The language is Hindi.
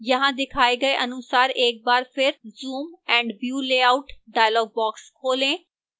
यहां दिखाए गए अनुसार एक बार फिर zoom & view layout dialog box खोलें